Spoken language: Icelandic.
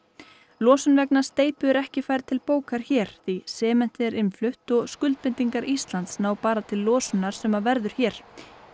losun vegna steypu er ekki færð til bókar hér því sementið er innflutt og skuldbindingar Íslands ná bara til losunar sem verður hér